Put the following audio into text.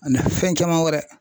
Ana fɛn caman wɛrɛ.